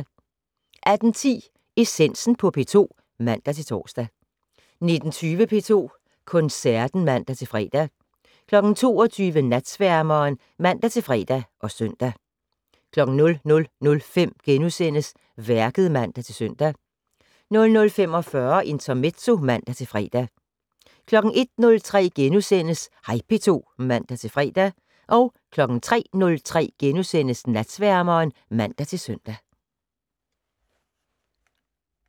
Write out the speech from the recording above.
18:10: Essensen på P2 (man-tor) 19:20: P2 Koncerten (man-fre) 22:00: Natsværmeren (man-fre og søn) 00:05: Værket *(man-søn) 00:45: Intermezzo (man-fre) 01:03: Hej P2 *(man-fre) 03:03: Natsværmeren *(man-søn)